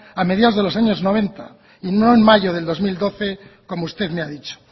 a mediados de los años noventa y no en mayo del dos mil doce como usted me ha dicho